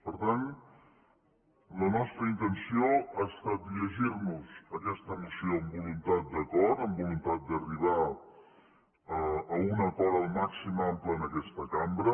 per tant la nostra intenció ha estat llegir nos aquesta moció amb voluntat d’acord amb voluntat d’arribar a un acord el màxim d’ample en aquesta cambra